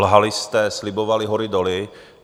Lhali jste, slibovali hory doly.